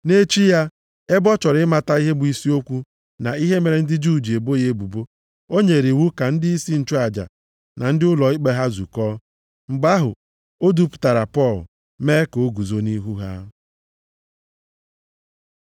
Nʼechi ya, ebe ọ chọrọ ịmata ihe bụ isi okwu na ihe mere ndị Juu ji ebo ya ebubo, o nyere iwu ka ndịisi nchụaja na ndị ụlọ ikpe ha zukọọ. Mgbe ahụ, o dupụtara Pọl, mee ka o guzo nʼihu ha.